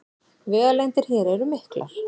Vegalengdir hér eru miklar